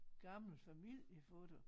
Gammel familiefoto